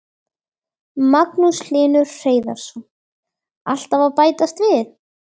Magnús Hlynur Hreiðarsson: Alltaf að bætast við?